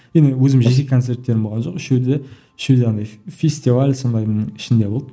енді өзім жеке концерттерім болған жоқ үшеуі де үшеуі де андай фестиваль сондайдың ішінде болды